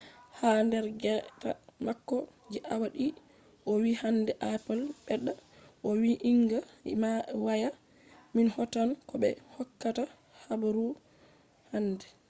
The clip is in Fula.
ha der gewta mako je awa didi o vi hande apple bedda vo’inga waya min hautan ko be hokkata habaru hande